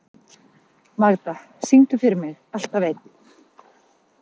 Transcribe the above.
Magda, syngdu fyrir mig „Alltaf einn“.